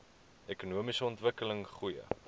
ekonomiese ontwikkeling goeie